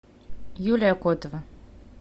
юлия котова